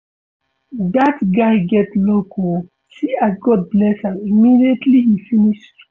Dat guy get luck oo see as God bless am immediately he finish school